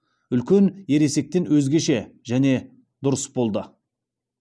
үлкен ересектен өзгеше және дұрыс болды